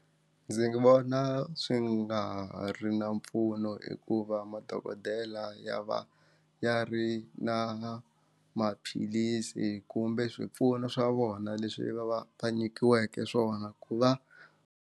Ndzi vona swi nga ri na mpfuno hikuva madokodela ya va ya ri na maphilisi kumbe swipfuno swa vona leswi va va va nyikiweke swona ku va.